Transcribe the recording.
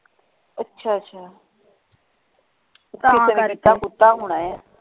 ਅੱਛਾ ਅੱਛਾ ਕਿਸੇ ਨੇ ਕੀਤਾ ਕੁਤਾ ਹੋਣਾ ਹੈ।